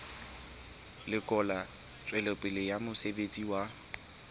lekola tswelopele ya mosebetsi wa